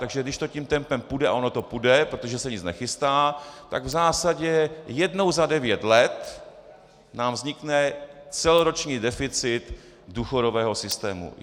Takže když to tím tempem půjde, a ono to půjde, protože se nic nechystá, tak v zásadě jednou za devět let nám vznikne celoroční deficit důchodového systému.